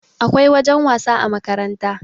akwai wajen wasa a makaranta